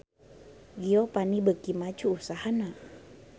Giovanni beuki maju usahana